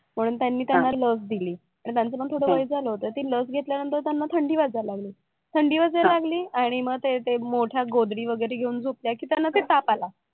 म्हणून त्यांनी त्यांना लस दिली तर त्यांचं पण थोडा वेळ झालं होता तर ती लस घेतल्या नंतर त्यांना थंडी वाजायला लागली, थंडी वाजायला लागली आणि मग ते मोठ्या गोधडी वगैरे घेऊन झोपल्या कि त्यांना ते ताप आला